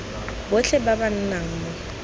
botlhe ba ba nnang mo